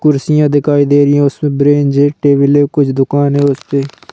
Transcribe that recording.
कुर्सियां दिखाई दे रही है उसमे ब्रेंज है टेबल है कुछ दुकान है उस पे --